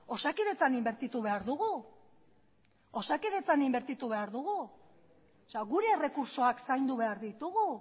osakidetzan inbertitu behar dugu osakidetzan inbertitu behar dugu gure errekurtsoak zaindu behar ditugu